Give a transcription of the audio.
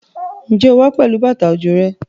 Ǹjẹ́ o wá pẹ̀lú bàtà òjò rẹ?